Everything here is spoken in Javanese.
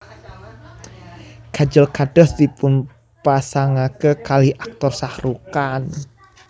Kajol kados dipunpasangake kalih Aktor Shahrukh Khan